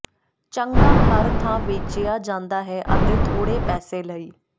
ਚੰਗਾ ਹਰ ਥਾਂ ਵੇਚਿਆ ਜਾਂਦਾ ਹੈ ਅਤੇ ਥੋੜ੍ਹੇ ਪੈਸੇ ਲਈ